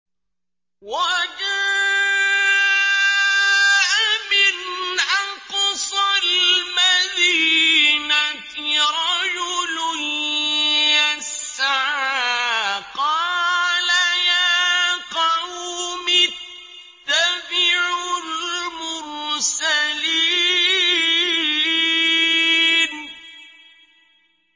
وَجَاءَ مِنْ أَقْصَى الْمَدِينَةِ رَجُلٌ يَسْعَىٰ قَالَ يَا قَوْمِ اتَّبِعُوا الْمُرْسَلِينَ